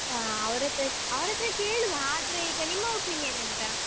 ಹಾ ಅವ್ರತ್ರ ಅವ್ರತ್ರ ಕೇಳುವ, ಆದ್ರೆ ಈಗ ನಿಮ್ಮ opinion ಎಂತ?